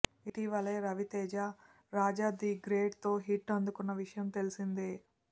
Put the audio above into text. ఇటీవలే Raviteja Raja the great తో hit అందుకున్న విషయం తెల్సిందే